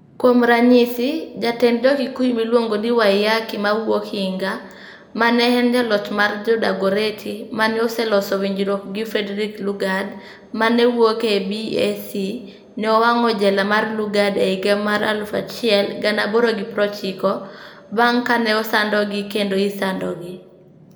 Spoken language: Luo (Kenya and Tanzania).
Kuom ranyisi, jatend Jo-Kikuyu miluongo ni Waiyaki ma wuok Hinga, ma ne en jaloch mar Jo-Dagoretti, ma ne oseloso winjruok gi Frederick Lugard ma ne wuok e BEAC, ne owang'o jela mar Lugard e higa mar 1890, bang' kane osandogi kendo isandogi.